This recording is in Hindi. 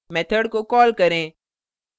method को कॉल करें